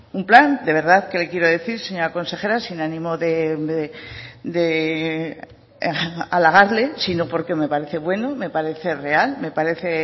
un plan de verdad que le quiero decir señora consejera sin ánimo de halagarle sino porque me parece bueno me parece real me parece